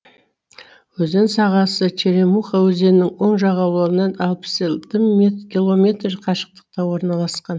өзен сағасы черемуха өзенінің оң жағалауынан алпыс алты километр қашықтықта орналасқан